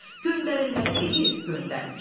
Göndərilməli deyil, göndərmir.